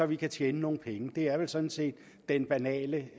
vi kan tjene nogle penge det er vel sådan set den banale